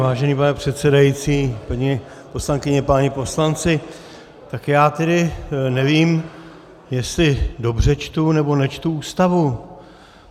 Vážený pane předsedající, paní poslankyně, páni poslanci, tak já tedy nevím, jestli dobře čtu nebo nečtu Ústavu.